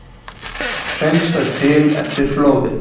Hreinsað til eftir flóðin